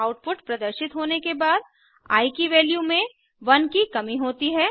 output प्रदर्शित होने के बाद आई की वैल्यू में 1 की कमी होती है